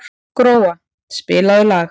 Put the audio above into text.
Gróa, spilaðu lag.